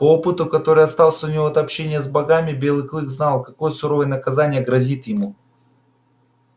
по опыту который остался у него от общения с богами белый клык знал какое суровое наказание грозит ему